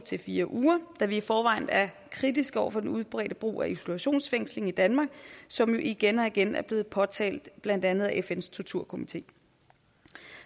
fire uger da vi i forvejen er kritiske over for den udbredte brug af isolationsfængsling i danmark som igen og igen er blevet påtalt af blandt andet fns torturkomité